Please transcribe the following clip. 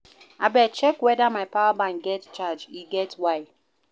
Abeg check weda my power bank get charge, e get why.